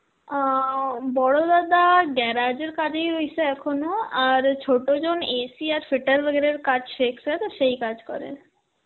আঁ ও বড় দাদা garage এর কাজেই রয়েসে এখনো, আর ছোট জন AC আর fitter Hindi র কাজ শেখসে হয়তো, সেই কাজ করে.